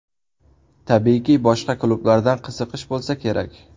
Tabiiyki, boshqa klublardan qiziqish bo‘lsa kerak?